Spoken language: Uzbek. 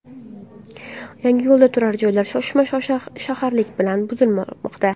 Yangiyo‘lda turar joylar shoshma-shosharlik bilan buzilmoqda.